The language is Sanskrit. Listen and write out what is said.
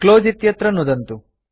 क्लोज़ इत्यत्र नुदन्तु